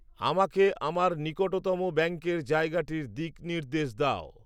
আমাকে আমার নিকটতম ব্যাঙ্কের জায়গাটির দিকনির্দেশ দাও